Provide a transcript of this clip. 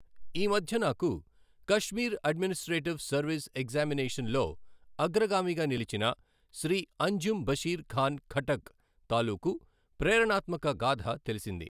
ఈమధ్య నాకు Kashmir administrative service examination లో అగ్రగామిగా నిలచిన శ్రీ అంజుమ్ బశీర్ ఖాన్ ఖట్టక్ తాలూకూ ప్రేరణాత్మక గాథ తెలిసింది.